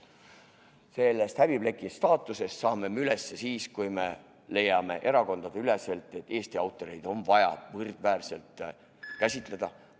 Sellest häbipleki staatusest saame me üle siis, kui me leiame erakondadeüleselt, et Eesti autoreid on vaja võrdväärselt käsitada.